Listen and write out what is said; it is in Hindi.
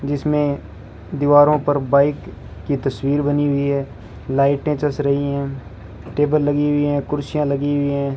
जिसमें दीवारों पर बाइक की तस्वीर बनी हुई है लाइटें चस रही हैं टेबल लगी हुई हैं कुर्सियां लगी हुई हैं।